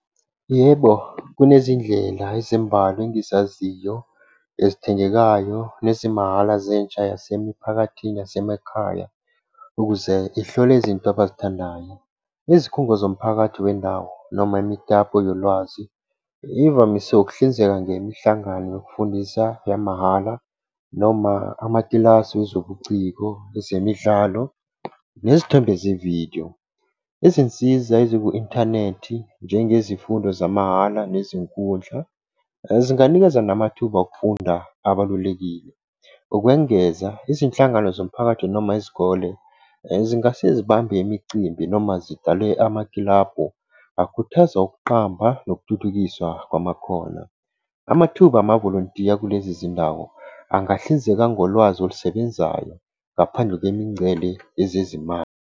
Yebo, kunezindlela ezimbalwa engizaziyo ezithengekayo nezimahhala zentsha yasemiphakathini yasemakhaya, ukuze ihlole izinto abazithandayo nezikhungo zomphakathi wendawo noma imitapo yolwazi ivamise ukuhlinzeka ngemihlangano yokufundisa yamahhala noma amakilasi wezobuciko, ezemidlalo, nezithombe ze vidiyo. Izinsiza eziku-inthanethi njengezifundo zamahhala nezinkundla zinganikeza namathuba okufunda abalulekile. Ukwengeza izinhlangano zomphakathi noma izikole. Zingase zibambe imicimbi noma zidale amakilabhu akhuthaza ukuqamba nokuthuthukiswa kwamakhona. Amathuba amavolontiya kulezi ndawo angahlinzeka ngolwazi olusebenzayo, ngaphandle kwemingcele ezezimali.